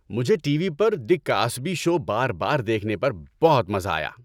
مجھے T V پر "The Cosby Show" بار بار دیکھنے پر بہت مزہ آیا۔